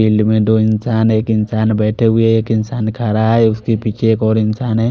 में दो इंसान है एक इंसान बेठे हुए है एक इंसान खड़ा है उसके पीछे एक और इंसान है।